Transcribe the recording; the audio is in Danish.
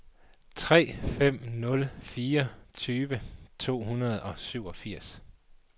tre fem nul fire tyve to hundrede og syvogfirs